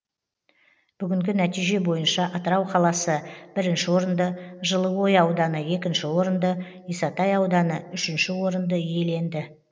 бүгінгі нәтиже бойынша атырау қаласы бірінші орынды жылыой ауданы екінші орынды исатай ауданы үшінші орынды иеленді